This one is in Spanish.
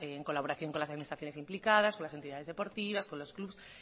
en colaboración con las administraciones implicadas con las entidades deportivas con los clubes